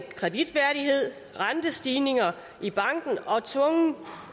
kreditværdighed rentestigninger i banken og tvungen